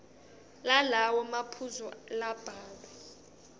lalawo maphuzu labhalwe